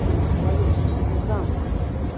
салют куда мы